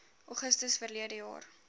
augustus verlede jaar